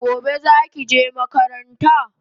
Gobe zaki je makaranta?